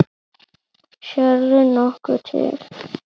Sérðu nokkuð til?